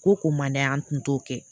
Ko ko man d'a ye an tun t'o kɛ